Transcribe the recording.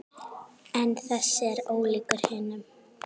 En þessi er ólíkur hinum.